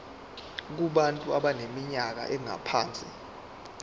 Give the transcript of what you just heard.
kubantu abaneminyaka engaphansi